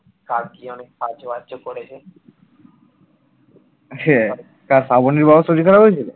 হ্যাঁ কার শ্রাবনীর বাবার শরীর খারাপ হয়েছিল?